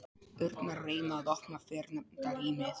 urnar reyna að opna fyrrnefnda rýmið.